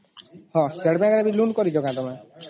ହଁ state bank ରୁ loan କରିଛ କି ତମେ ?